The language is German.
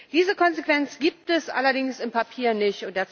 Diese Konsequenz gibt es allerdings im Papier nicht.